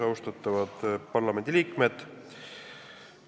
Austatavad parlamendiliikmed!